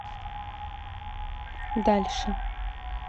дальше